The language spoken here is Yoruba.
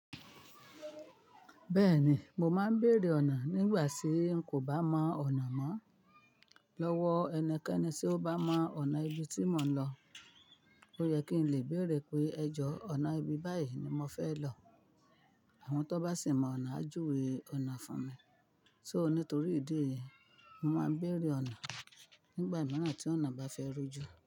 Bẹ́ẹ̀ni, mo máa ń béèrè ọ̀nà nígbà tí n kò bá mọ ọ̀nà mọ́. Lọ́wọ́ ẹnikẹ́ni tí ó bá mọ ọ̀nà ibi tí mò ń lọ. Ó yẹ kí n lè béèrè pé ẹ jọ ọ̀nà ibi báyìí ni mò ń fẹ́ lọ. Àwọn tó bá sì mọ ọ̀nà á júwe ọ̀nà fún mi. So nítorí ìdí yìí, mo máa ń béèrè ọ̀nà nígbà mìíràn tí ọ̀nà bá fẹ́ rújú.